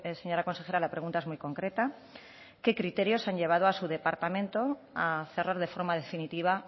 señora consejera la pregunta es muy concreta qué criterios han llevado a su departamento a cerrar de forma definitiva